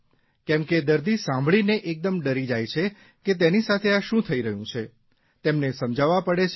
કેમ કે દર્દી સાંભળીને એકદમ ડરી જાય છે કે તેની સાથે આ શું થઇ રહ્યું છે તેમને સમજાવવા પડે છે